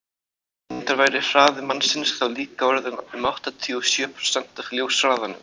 reyndar væri hraði mannsins þá líka orðinn um áttatíu og sjö prósent af ljóshraðanum